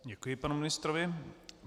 Děkuji panu ministrovi.